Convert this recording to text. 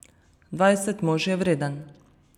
Dvajset mož je vreden!